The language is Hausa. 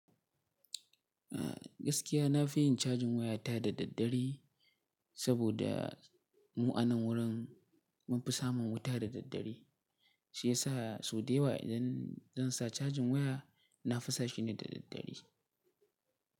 A gaskiya na fi yin cajin waya ta da daddare. Saboda mu a nan wurin mun fi samun wuta da daddare, shi yasa sau da yawa idan zan sa cajin waya. Na fi sa shi ne da daddare.